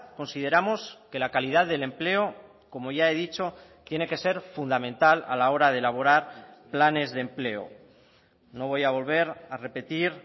consideramos que la calidad del empleo como ya he dicho tiene que ser fundamental a la hora de elaborar planes de empleo no voy a volver a repetir